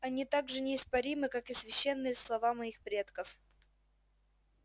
они так же неоспоримы как и священные слова моих предков